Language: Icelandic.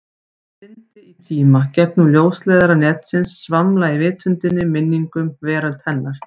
Syndi í tíma, gegnum ljósleiðara netsins, svamla í vitundinni, minningum, veröld hennar.